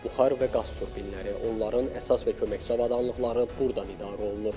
Buxar və qaz turbinləri, onların əsas və köməkçi avadanlıqları burdan idarə olunur.